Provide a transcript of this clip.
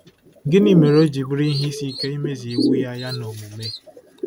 Gịnị mere o ji bụrụ ihe isi ike imezu iwu Ya Ya n’omume?